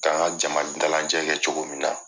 Ka n ka jama dalajɛ kɛ cogo min na